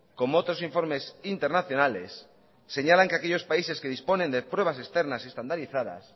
como otros informes internacionales señalan que aquellos países que disponen de pruebas externas y estandarizadas